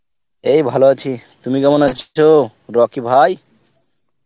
এই ভালো আছি, তুমি কেমন আছো রকি ভাই ?